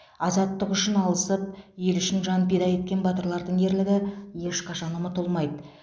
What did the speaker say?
азаттық үшін алысып ел үшін жан пида еткен батырлардың ерлігі ешқашан ұмытылмайды